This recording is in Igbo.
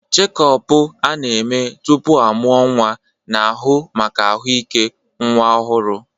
Chékopu a-na eme tupu amuo nwa na-ahu maka ahụike nwa ọhụrụ.